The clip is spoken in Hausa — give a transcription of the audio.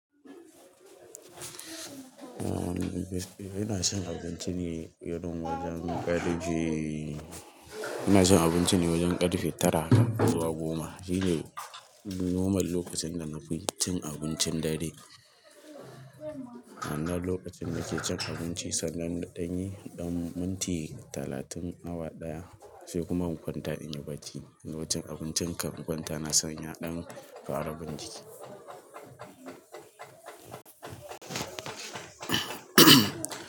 Eh ina cin abinci ne irin wajen ƙarfe ina cin abinci ne wajen ƙarfe tara zuwa goma. Shi ne normal lokacin da na fi cin abincin dare. Na lokacin nake cin abinci sannan na ɗanyi ɗan minti talatin awa ɗaya sai kuma in kwanta inyi barci. Gama cin abincin kan in kwanta na san ya ɗan fara bin jiki.